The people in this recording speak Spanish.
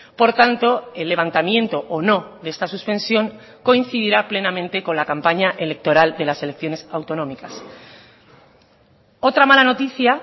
por tanto el levantamiento o no de esta suspensión coincidirá plenamente con la campaña electoral de las elecciones autonómicas otra mala noticia